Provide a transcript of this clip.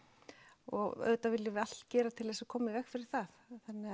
og auðvitað viljum við allt gera til þess að koma í veg fyrir það